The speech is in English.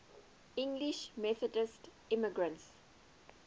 english methodist immigrants